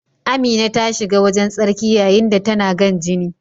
Amina ta shiga wajen tsarki yayin da tana gan jini.